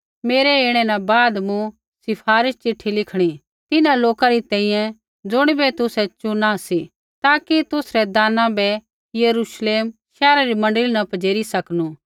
मेरै ऐणै न बाद मूँ सिफारिश चिट्ठी लिखणी तिन्हां लोका री तैंईंयैं ज़ुणिबै तुसै चुना सी ताकि तुसरै दाना बै यरूश्लेम शैहरा री मण्डली न पजेरी सकनू